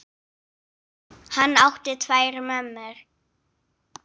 Hann átti tvær mömmur.